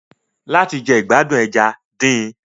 Láti jẹ ìgbádùn ẹja, din.